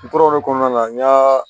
N tora o de kɔnɔna na n ɲa